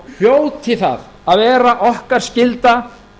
hljóti það að vera okkar skylda